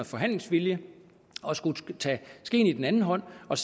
forhandlingsvilje og skulle tage skeen i den anden hånd og